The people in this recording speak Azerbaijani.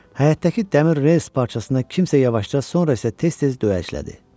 Həyətdəki dəmir rels parçasına kimsə yavaşca, sonra isə tez-tez dəyəclədi.